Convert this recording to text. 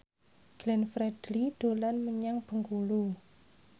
Glenn Fredly dolan menyang Bengkulu